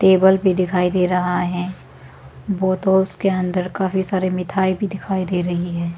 Table भी दिखाई दे रहा है वो उसके अंदर काफी सारी मिठाई भी दिखाई दे रही है।